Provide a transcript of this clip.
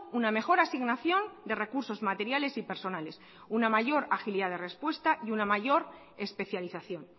una mejor asignación de recursos materiales y personales una mayor agilidad de respuesta y una mayor especialización